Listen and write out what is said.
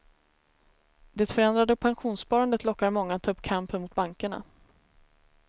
Det förändrade pensionssparandet lockar många att ta upp kampen mot bankerna.